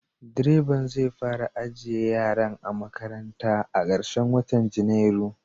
Direban zai fara ajiye yaran a makaranta a karshen watan Janairu.